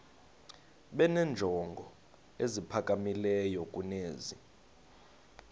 benenjongo eziphakamileyo kunezi